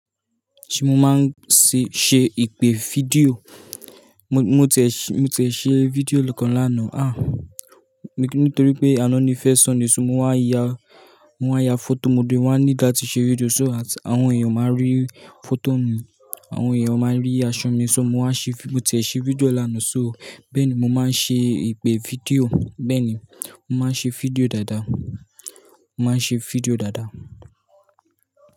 Ṣé mo máa ń ṣe, ṣe ìpè fídíò? Mo, mo tiẹ̀ṣe, mo tiẹ̀ṣe fídíò kan lánàá, ah, nítorí pé àná ni fẹ́ sunday èso. Mo waa ya, mo waa ya fọ́tò mo dín, wọ́n wá ní la tí ṣe fídíò, so àti àwọn èèyàn máa rí fọ́tò mi. Àwọn èèyàn máa rí aṣọ mi, so mo máa ṣe fí-- mo tiẹ̀ṣé fídíò lánàá, so bẹ́ẹ̀ ni mo máa ṣe ìpè fídíò. Bẹ́ẹ̀ ni, mo máa ṣe fídíò dáadáa. Mo máa ṣe fídíò dáadáa.